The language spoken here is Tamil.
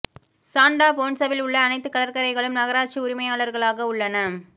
சாண்டா போன்சாவில் உள்ள அனைத்து கடற்கரைகளும் நகராட்சி உரிமையாளர்களாக உள்ளன